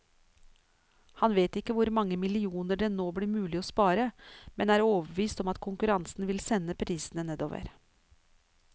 Han vet ikke hvor mange millioner det nå blir mulig å spare, men er overbevist om at konkurransen vil sende prisene nedover.